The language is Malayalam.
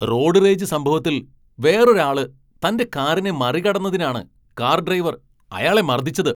റോഡ് റേജ് സംഭവത്തിൽ വേറൊരാള് തന്റെ കാറിനെ മറികടന്നതിനാണ് കാർ ഡ്രൈവർ അയാളെ മർദ്ദിച്ചത്.